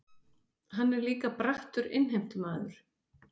Hann er líka brattur innheimtumaður.